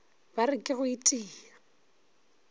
ba re ke go itia